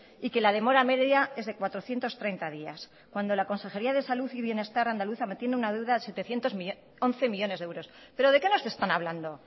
y que la demora media es de cuatrocientos treinta días cuando la consejería de salud y bienestar andaluza tiene una deuda de once millónes de euros pero de qué nos están hablando